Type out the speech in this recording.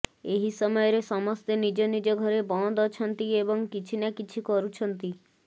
ଏହି ସମୟରେ ସମସ୍ତେ ନିଜ ନିଜ ଘରେ ବନ୍ଦ ଅଛନ୍ତି ଏବଂ କିଛି ନା କିଛି କରୁଛନ୍ତି